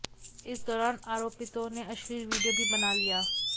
इस दौरान आरोपितों ने अश्लील विडियो भी बना लिया